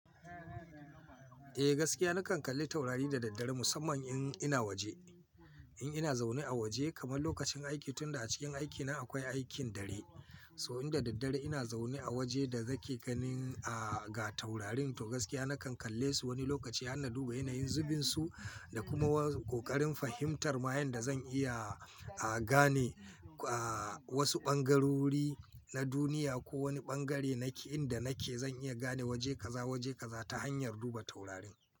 Eh gaskiya nakan kalli taurari da daddare musamman in ina waje. In ina zaune a waje kamar lokacin aiki tunda a cikin aikina akwai aikin dare. So in da daddare ina zaune a waje da zai ke ganin, ah, ga taurarin to gaskiya nakan kalle su wani lokaci har na duba yanayin zubinsu da kuma ƙoƙarin fahimtar ma yanda zan iya, ah, gane, ah, wasu ɓangarori na duniya ko wani ɓangare nake inda nake zan iya gane waje kaza waje kaza ta hanyar duba taurarin.